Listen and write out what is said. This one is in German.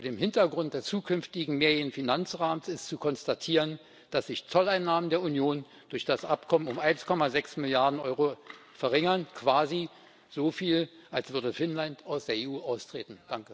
Vor dem Hintergrund des zukünftigen mehrjährigen Finanzrahmens ist zu konstatieren, dass sich die Zolleinnahmen der Union durch das Abkommen um 1,6 Milliarden Euro verringern quasi so viel, als würde Finnland aus der EU austreten.